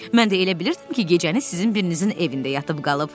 Mən də elə bilirdim ki, gecəni sizin birinizin evində yatıb qalıb.